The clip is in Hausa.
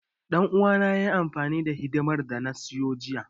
Ɗan uwana yayi amfani da hidimar da na siyo jiya.